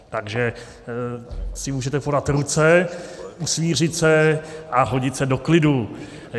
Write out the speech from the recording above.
Takže si můžete podat ruce, usmířit se a hodit se do klidu.